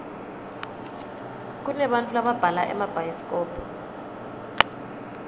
kunebantau lababhala emabhayisikobho